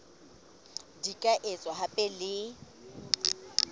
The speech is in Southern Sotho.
di ka etswa hape le